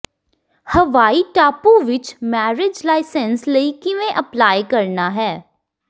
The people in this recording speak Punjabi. ਹਵਾਈ ਟਾਪੂ ਵਿਚ ਮੈਰਿਜ ਲਾਇਸੈਂਸ ਲਈ ਕਿਵੇਂ ਅਪਲਾਈ ਕਰਨਾ ਹੈ